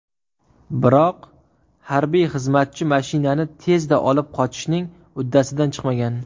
Biroq harbiy xizmatchi mashinani tezda olib qochishning uddasidan chiqmagan.